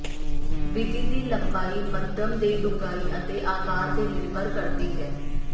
ਵਿਧੀ ਦੀ ਲੰਬਾਈ ਮਧਮ ਦੇ ਡੂੰਘਾਈ ਅਤੇ ਆਕਾਰ ਤੇ ਨਿਰਭਰ ਕਰਦੀ ਹੈ